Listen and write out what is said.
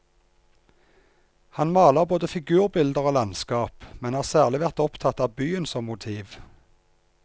Han maler både figurbilder og landskap, men har særlig vært opptatt av byen som motiv.